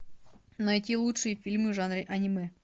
найти лучшие фильмы в жанре аниме